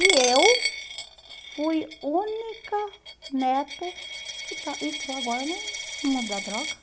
E eu fui única neto que está entrou agora no no mundo da droga.